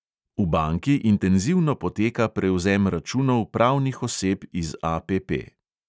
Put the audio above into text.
V banki intenzivno poteka prevzem računov pravnih oseb iz APP.